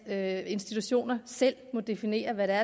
at institutioner selv må definere hvad der